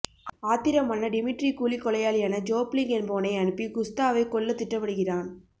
ஆத்திரமான Dmitri கூலிக்கொலையாளியான Jopling என்பவனை அனுப்பிக் குஸ்தாவைக் கொல்ல திட்டமிடுகிறான்